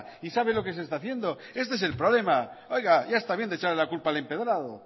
y sabe lo que se está haciendo este es el problema oiga ya está bien de echar la culpa al empedrado